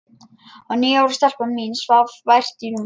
Og níu ára stelpan mín svaf vært í rúminu.